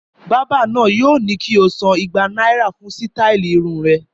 Bàbá náà yóò ní kí o san ẹgbàá náírà fún sítáálì irun rẹ.